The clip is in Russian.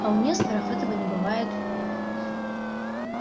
а у несторов этого не бывает